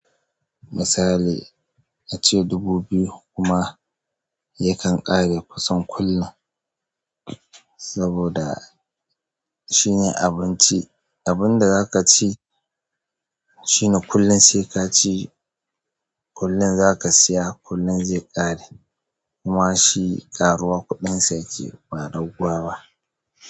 Misali ace dubu biyu kuma yakan ƙare kusan kullum, saboda shine abinci. Abun da zaka ci shine kullum sai ka ci kullum zaka siya kullum zai ƙare kuma shi ƙaruwa kuɗin sa yake ba don kowa ba.